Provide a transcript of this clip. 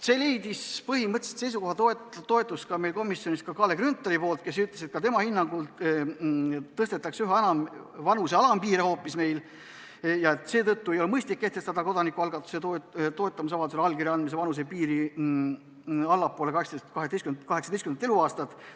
See leidis põhimõtteliselt meie komisjonis toetust ka Kalle Grünthalilt, kes ütles, et ka tema hinnangul meil hoopis üha enam vanuse alampiire tõstetakse ja seetõttu ei ole mõistlik kehtestada kodanikualgatuse toetusavaldusele allkirja andmise vanusepiir allpool 18. eluaastat.